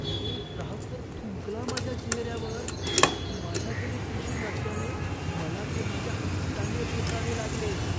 एक ग्राहक तर थुंकला माझ्या चेहऱ्यावर. माझ्याकडे टिश्यू नसल्याने, मला ते माझ्या हाताने पुसावे लागले.